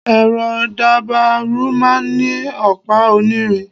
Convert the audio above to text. ẹrọ dabaru máà ń ni opa onírín